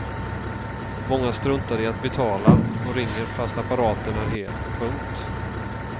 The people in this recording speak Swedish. Många struntar i att betala och ringer fast apparaten är hel. punkt